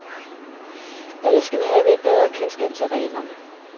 Alle skal have et bedre kendskab til reglerne.